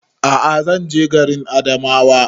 A'a zan je garin Adamawa